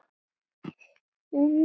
Henni er ætlað að